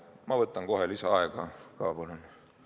Ma võtan kohe lisaaega ka, palun!